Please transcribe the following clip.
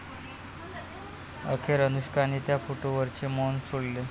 अखेर अनुष्काने त्या फोटोवरचे मौन सोडले